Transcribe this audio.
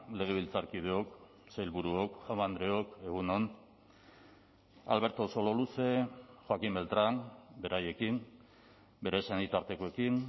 legebiltzarkideok sailburuok jaun andreok egun on alberto sololuze joaquín beltrán beraiekin bere senitartekoekin